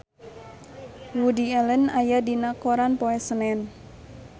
Woody Allen aya dina koran poe Senen